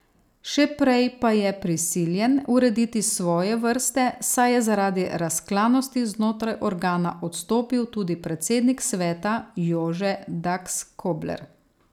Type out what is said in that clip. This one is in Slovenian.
Še prej pa je prisiljen urediti svoje vrste, saj je zaradi razklanosti znotraj organa odstopil tudi predsednik sveta Jože Dakskobler.